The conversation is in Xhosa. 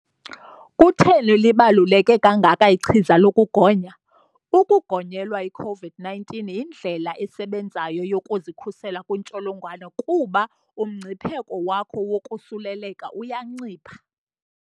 Kutheni libaluleke kangaka ichiza lokugonya? Ukugonyelwa i-COVID-19 yindlela esebenzayo yokuzikhusela kwintsholongwane kuba umngcipheko wakho wokosuleleka uyancipha.